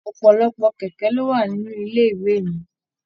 Ọpọlọpọ kẹkẹ lo wà nínú ilé ìwé mí.